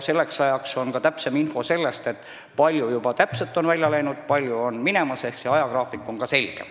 Selleks ajaks on olemas ka täpsem info, kui palju töötajaid on välja läinud ja kui palju on minemas, ehk ajagraafik on selge.